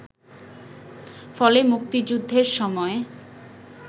ফলে মুক্তিযুদ্ধের সময়